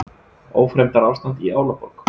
Ófremdarástand í Álaborg